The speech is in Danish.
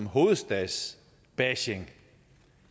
hovedstadsbashing